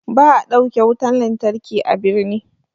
Ba'a ɗauke wutan lantarki a birni.